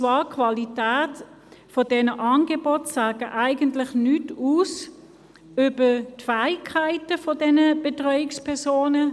Die Qualität der Angebote sagt eigentlich nichts aus über die Fähigkeiten der Betreuungspersonen.